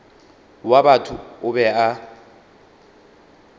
wa batho o be a